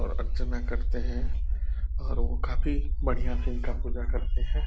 और अर्चना करते हैं और वो काफी बढ़िया से इनका पूजा करते हैं ।